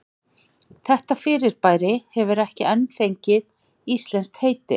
Þetta fyrirbæri hefur ekki enn fengið íslenskt heiti.